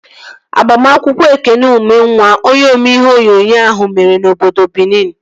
Agbamakwụkwọ Ekene Ụmenwa, onye omee ihe onyonyo ahụ, mere n'obodo Binin